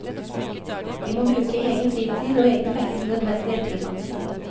Vi må bruke egen fritid og egne penger til nødvendig etterutdannelse.